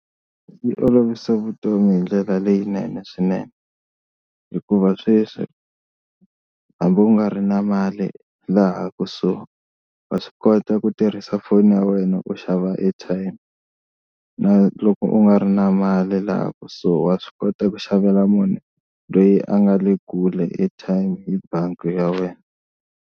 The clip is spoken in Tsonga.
Yi olovisa vutomi hi ndlela leyinene swinene hikuva sweswi hambi u nga ri na mali laha kusuhi va swi kota ku tirhisa foni ya wena ku xava airtime, na loko u nga ri na mali laha kusuhi wa swi kota ku xavela munhu loyi a nga le kule airtime hi bangi ya wena.